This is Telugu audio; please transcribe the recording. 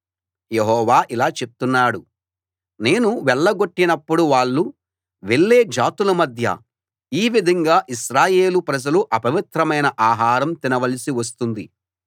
యెహోవా ఇలా చెప్తున్నాడు నేను వెళ్ళగొట్టినప్పుడు వాళ్ళు వెళ్ళే జాతులమధ్య ఈ విధంగా ఇశ్రాయేలు ప్రజలు అపవిత్రమైన ఆహారం తినవలసి వస్తుంది